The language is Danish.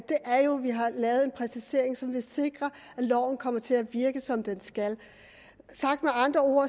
er jo at vi har lavet en præcisering som vil sikre at loven kommer til at virke som den skal sagt med andre ord